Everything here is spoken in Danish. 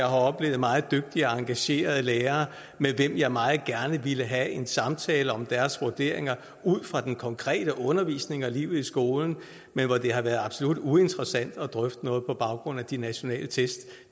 oplevet meget dygtige og engagerede lærere med hvem jeg meget gerne ville have en samtale om deres vurderinger ud fra den konkrete undervisning og livet i skolen men hvor det har været absolut uinteressant at drøfte noget på baggrund af de nationale test